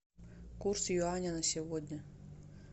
курс юаня на сегодня